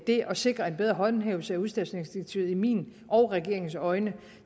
det at sikre en bedre håndhævelse af udstationeringsdirektivet i mine og regeringens øjne